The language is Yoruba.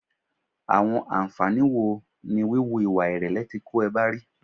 Àwọn ànfàní wo ni wíwù ìwà ìrẹ̀lẹ̀ ti kó e ba ri?